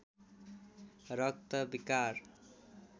रक्त विकार